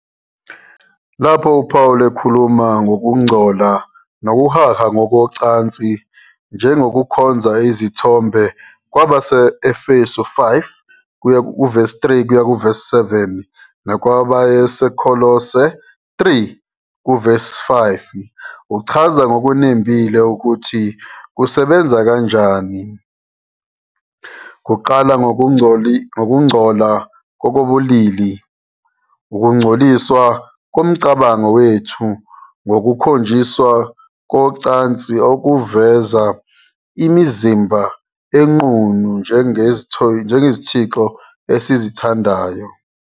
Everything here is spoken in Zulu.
Lapho uPaul ekhuluma ngokungcola nokuhaha ngokocansi njengokukhonza izithombe kwabase-Efesu 5:3-7 nakweyabaseKolose 3:5, uchaza ngokunembile ukuthi kusebenza kanjani. Kuqala ngokungcola ngokobulili, ukungcoliswa komcabango wethu ngokukhonjiswa kocansi okuveza imizimba enqunu njengezithixo esizithandayo.